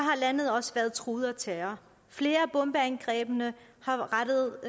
landet også været truet af terror flere af bombeangrebene